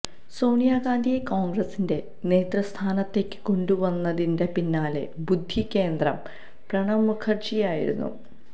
സോണിയാ ഗാന്ധിയെ കോണ്ഗ്രസിന്റെ നേതൃസ്ഥാനത്തേയ്ക്ക് കൊണ്ടുവന്നതിന് പിന്നിലെ ബുദ്ധികേന്ദ്രം പ്രണബ് മുഖര്ജിയായിരുന്നു